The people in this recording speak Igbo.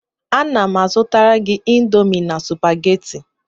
Ana m azụtara gị Indomi na Supagetii